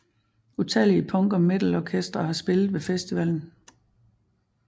Utallige punk og metal orkestre har spillet ved festivalen